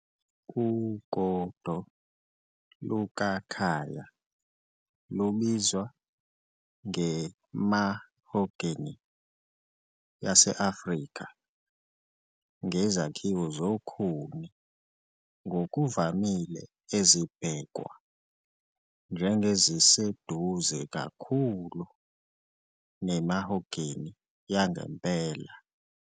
Ugodo "lukaKhaya" lubizwa nge- "mahogany yase-Afrika", ngezakhiwo zokhuni ngokuvamile ezibhekwa njengeziseduze kakhulu ne- mahogany yangempela.